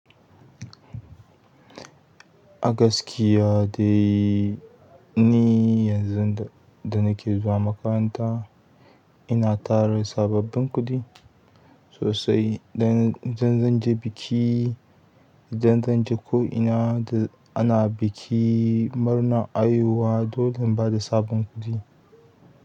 A gaskiya dai ni yanzu da, da nake zuwa makaranta. Ina tara sababbin kuɗi sosai dan zan je biki, don zan je ko ina da ana biki murna a yiwuwa, dolin ba da sabon kuɗi.